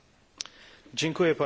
Pani Przewodnicząca!